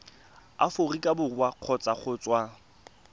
aforika borwa kgotsa go tswa